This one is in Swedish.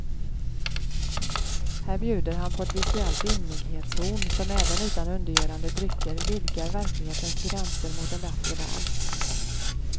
Här bjuder han på ett visuellt ymnighetshorn som även utan undergörande drycker vidgar verklighetens gränser mot en bättre värld.